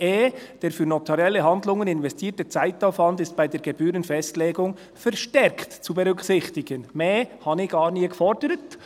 2.e: «Der für notarielle Handlungen investierte Zeitaufwand ist bei der Gebührenfestlegung verstärkt zu berücksichtigen.» Mehr habe ich gar nie gefordert.